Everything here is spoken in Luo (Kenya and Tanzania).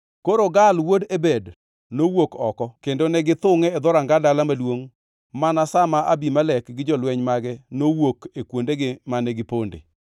Koro Gaal wuod Ebed nowuok oko kendo negichungʼ e dhoranga dala maduongʼ mana sa ma Abimelek gi jolweny mage nowuok e kuondegi mane giponde.